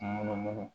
Munumunu